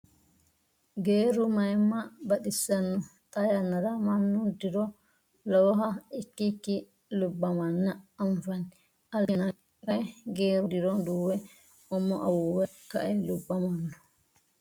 Geerru mayiimma baxisanno! Xaa yannara mannu diro lowoha ikkikki lubbamanna anfanni. Alibbi yanna kayii geerru diro duuwe umo awuuwe ka'e lubbamawo.